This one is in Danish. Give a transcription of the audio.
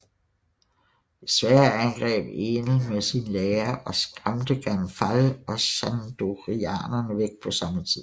Desværre angreb Enel med sin hær og skræmte Gan Fall og Shandorianerne væk på samme tid